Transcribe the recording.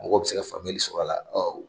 Mɔgɔw bɛ se ka famuyali sɔrɔ a la